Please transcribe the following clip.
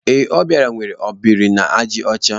Ee, Obiora nwere ọ biri na àjà ọcha.